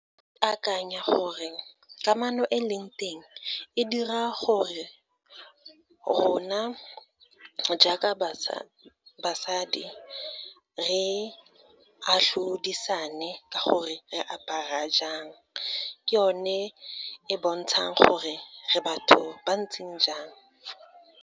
Akanya gore, kamano e leng teng, e dira gore rona jaaka basadi, re atlhodisane ka gore re apara jang, ke one e bontshang gore re batho ba ntseng jang.